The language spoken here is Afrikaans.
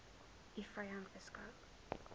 u vyand beskou